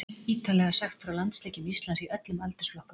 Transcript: Ítarlega sagt frá landsleikjum Íslands í öllum aldursflokkum.